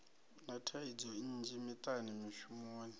na thaidzo nnzhi miṱani mishumoni